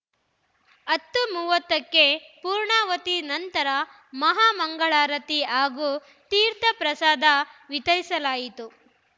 ಹತ್ತು ಮೂವತ್ತಕ್ಕೆ ಪೂರ್ಣಾವತಿ ನಂತರ ಮಹಾಮಂಗಳಾರತಿ ಹಾಗೂ ತೀರ್ಥ ಪ್ರಸಾದ ವಿತರಿಸಲಾಯಿತು